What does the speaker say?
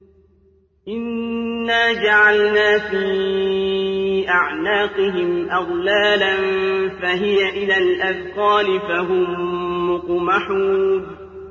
إِنَّا جَعَلْنَا فِي أَعْنَاقِهِمْ أَغْلَالًا فَهِيَ إِلَى الْأَذْقَانِ فَهُم مُّقْمَحُونَ